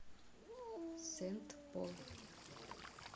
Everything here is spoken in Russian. сент пол